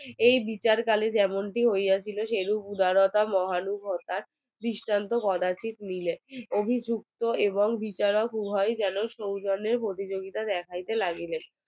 এই বিচার যেমনটি হইয়াছিল যেরূপ উদারতা মহানুভতা দৃষ্টান্ত কোদাতিক মিলে অভিযুক্ত এবং বিচারক উভয় যেন সৌজন্যের প্রতিযোগিতা দেখতে লাগিলেন